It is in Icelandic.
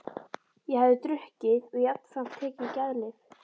Ég hafði drukkið og jafnframt tekið geðlyf.